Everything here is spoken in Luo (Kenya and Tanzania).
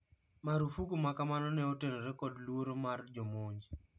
Marufuku makamano ne otenore kod luoro mar jomonj.